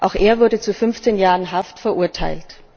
Auch er wurde zu fünfzehn Jahren Haft verurteilt.